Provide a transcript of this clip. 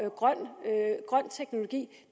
grøn teknologi